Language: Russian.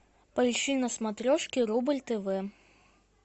поищи на смотрешке рубль тв